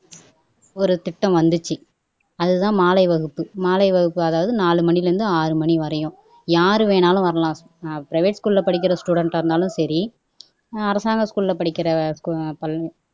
ஒரு திட்டம் வந்துச்சு அதுதான் மாலை வகுப்பு அதாவது நாலு மணியில இருந்து ஆறு மணிவரையும் யாரு வேணும்னாலும் வரலாம் பிரைவேட்-க்குள்ள படிக்கிற ஸ்டூடன்ஸ்- ஆ இருந்தாலும் சரி அரசாங்க ஸ்கூல்ல படிக்கிற ஸ்டூ